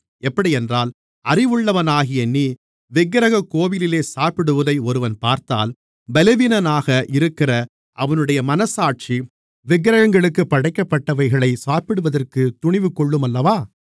எப்படியென்றால் அறிவுள்ளவனாகிய நீ விக்கிரகக் கோவிலிலே சாப்பிடுவதை ஒருவன் பார்த்தால் பலவீனனாக இருக்கிற அவனுடைய மனச்சாட்சி விக்கிரகங்களுக்குப் படைக்கப்பட்டவைகளை சாப்பிடுவதற்குத் துணிவு கொள்ளுமல்லவா